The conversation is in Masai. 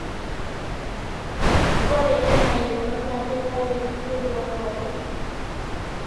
ore ena yieunot naa keitayu kulie duat pookin